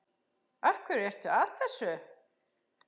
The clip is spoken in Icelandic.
Af hverju ertu að þessu?